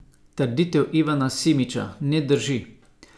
Trditev Ivana Simiča ne drži.